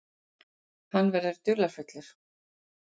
Hann verður dularfullur.